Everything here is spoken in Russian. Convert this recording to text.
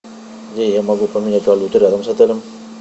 где я могу поменять валюту рядом с отелем